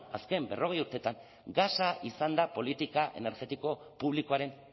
azken berrogei urteetan gasa izan da politika energetiko publikoaren